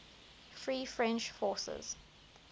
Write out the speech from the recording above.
free french forces